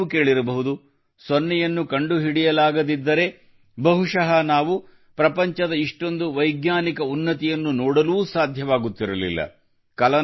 ಇದನ್ನೂ ನೀವು ಕೇಳಿರಬಹುದು ಸೊನ್ನೆಯನ್ನು ಕಂಡುಹಿಡಿಯಲಾಗದಿದ್ದರೆ ಬಹುಶಃ ನಾವು ಪ್ರಪಂಚದ ಇಷ್ಟೊಂದು ವೈಜ್ಞಾನಿಕ ಉನ್ನತಿಯನ್ನೂ ನೋಡಲು ಸಾಧ್ಯವಾಗುತ್ತಿರಲಿಲ್ಲ